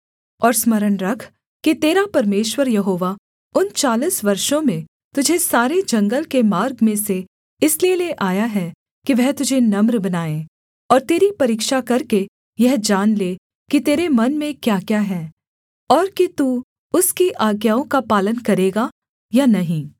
और स्मरण रख कि तेरा परमेश्वर यहोवा उन चालीस वर्षों में तुझे सारे जंगल के मार्ग में से इसलिए ले आया है कि वह तुझे नम्र बनाए और तेरी परीक्षा करके यह जान ले कि तेरे मन में क्याक्या है और कि तू उसकी आज्ञाओं का पालन करेगा या नहीं